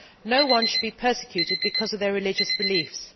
No one should be persecuted because of their religious beliefs.